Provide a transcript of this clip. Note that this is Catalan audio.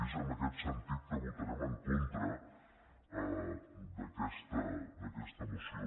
i és en aquest sentit que votarem en contra d’aquesta moció